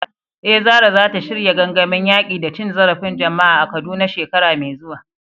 Eh, Zarah zata shirya gangamin yaƙi da cin zarafin jama’a a Kaduna shekara mai zuwa.